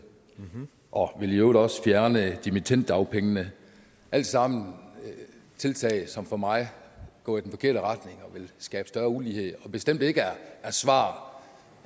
og i øvrigt også vil fjerne dimittenddagpengene alt sammen tiltag som for mig går i den forkerte retning og vil skabe større ulighed og som bestemt ikke er svar